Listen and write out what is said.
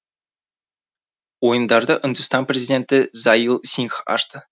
ойындарды үндістан президенті заил сингх ашты